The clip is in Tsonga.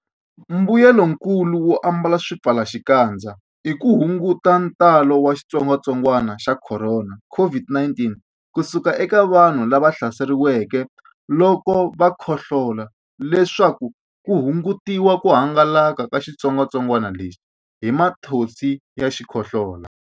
Mbuyelonkulu wo ambala swipfalaxikandza i ku hunguta ntalo wa xitsongwantsongwana xa Khorona, COVID-19, ku suka eka vanhu lava hlaseriweke loko va khohlola leswaku ku hungutiwa ku hangalaka ka xitsongwantsongwana lexi hi mathonsi ya xikhohlola.